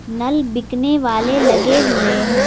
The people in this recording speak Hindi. नल बिकने वाले लगे हुए हैं।